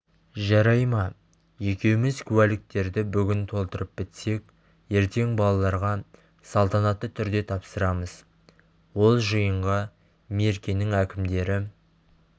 жарай ма екеуміз куәліктерді бүгін толтырып бітсек ертең балаларға салтанатты түрде тапсырамыз ол жиынға меркенің әкімдері